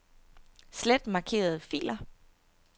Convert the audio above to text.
Slet markerede filer.